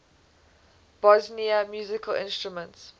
bosnian musical instruments